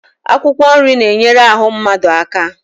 Akwụkwọ nri na-enyere ahụ mmadụ aka